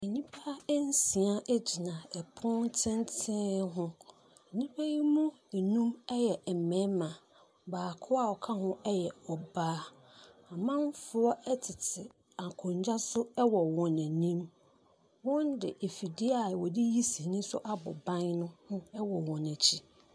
Nnipa nsia gyina pono tenten ho. Nnipa yi mu nnum yɛ mmarima, baako a ɔka ho yɛ ɔbaa. Amanfoɔ tete akonnwa so wɔ wɔn anim. Wɔde afidie a wɔde yi sini nso abɔ ban no ho wɔ wɔn akyi.